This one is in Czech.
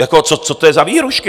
Jako co to je za vyhrůžky?